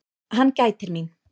Hann gætir mín.